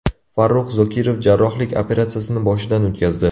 Farrux Zokirov jarrohlik operatsiyasini boshidan o‘tkazdi.